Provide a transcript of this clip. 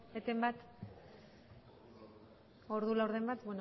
eten bat ordu laurden bat